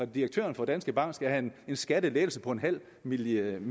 direktøren for danske bank skal have en skattelettelse på nul million